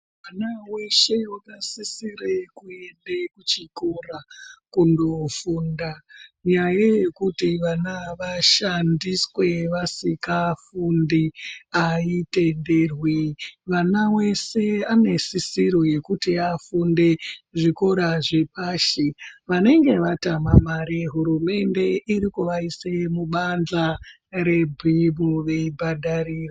Mwana weshe wakasisire kuende kuchikora kundofunda. Nyaya yekuti vana vashandiswe vasingafundi aitenderwi. Mwana weshe ane sisiro yekuti afunde kuzvikora zvepashi, vanenge vaitama mare hurumende iri kuvaise mubanza rebhimu veibhadharirwa.